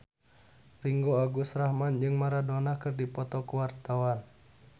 Ringgo Agus Rahman jeung Maradona keur dipoto ku wartawan